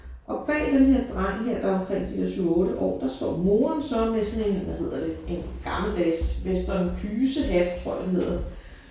Og bag den her dreng her der er omkring de der 7 8 år der står moren så med sådan en hvad hedder det en gammeldags western kysehat tror jeg det hedder